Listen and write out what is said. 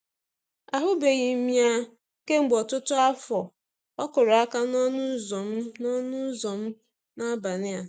um Ahụbeghị m ya kemgbe ọtụtụ afọ, ọ kụrụ aka n'ọnụ ụzọ m n'ọnụ ụzọ m n'abalị um a.